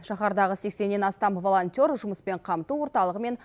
шаһардағы сексеннен астам волонтер жұмыспен қамту орталығы мен